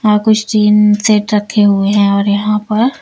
हां कुछ tin shed रखे हुए हैं और यहां पर--